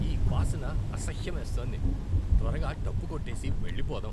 ఈ వాసన అసహ్యమేస్తోంది. త్వరగా డబ్బు కట్టేసి వెళ్లిపోదాం.